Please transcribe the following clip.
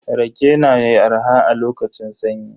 Rage yana arha a lokacin sanyi.